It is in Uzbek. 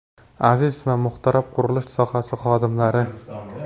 Aziz va muhtaram qurilish sohasi xodimlari!